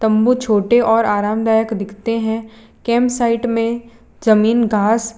तंबू छोटे और आरामदायक दिखते हैं कैंप साइड में जमीन घास --